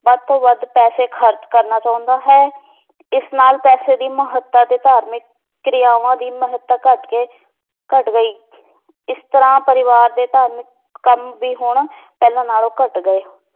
ਵੱਧ ਤੋਂ ਵੱਧ ਪੈਸੇ ਖਰਚ ਕਰਨਾ ਚਾਹੁੰਦਾ ਹੈ ਇਸ ਨਾਲ ਪੈਸੇ ਦੀ ਮਹੱਤਤਾ ਤੇ ਧਾਰਮਿਕ ਕ੍ਰਿਆਵਾਂ ਦੀ ਮਹੱਤਤਾ ਘੱਟ ਕੇ ਘੱਟ ਗਈ ਇਸ ਤਰ੍ਹਾਂ ਪਰਿਵਾਰ ਦੇ ਧਾਰਮਿਕ ਕੰਮ ਵੀ ਹੁਣ ਪਹਿਲਾਂ ਨਾਲੋਂ ਘੱਟ ਗਏ